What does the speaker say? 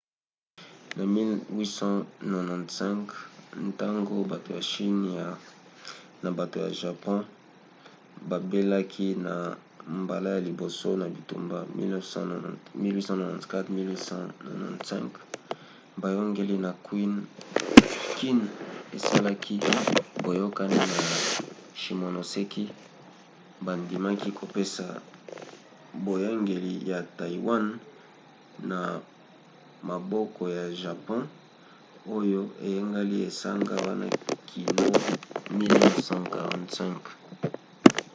na 1895 ntango bato ya chine na bato ya japon babelaki na mbala ya liboso na bitumba 1894-1895 boyangeli ya qing esalaki boyokani na shimonoseki bandimaki kopesa boyangeli ya taiwan na maboko ya japon oyo eyangelaki esanga wana kino 1945